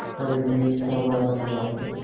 हर वीर था भारतवासी